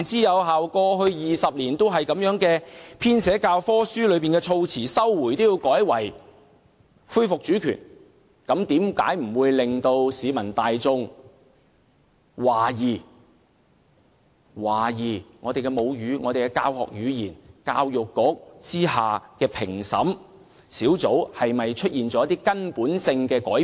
二十年以來，本港的教科書一直使用"收回"一詞，現在卻要改為"恢復主權"，難怪市民大眾開始懷疑我們的母語、教學語言及教育局之下的評審小組出現了一些根本性的改變。